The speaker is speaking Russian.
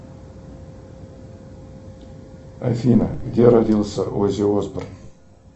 афина где родился оззи осборн